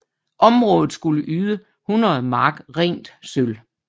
Området skulle yde 100 mark rent sølv